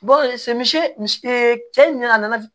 misi cɛ ɲina a nana